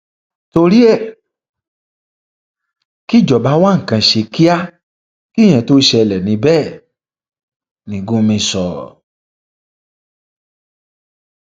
torí ẹ kíjọba wa nǹkan ṣe kíá kíyẹn tóo ṣẹlẹ ní bẹẹ ni gúmì sọ